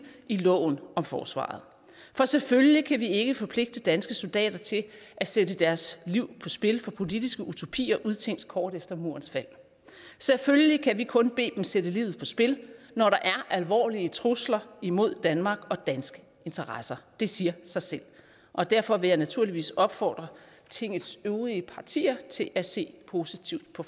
i loven om forsvaret for selvfølgelig kan vi ikke forpligte danske soldater til at sætte deres liv på spil for politiske utopier udtænkt kort efter murens fald selvfølgelig kan vi kun bede dem sætte livet på spil når der er alvorlige trusler imod danmark og danske interesser det siger sig selv og derfor vil jeg naturligvis opfordre tingets øvrige partier til at se positivt på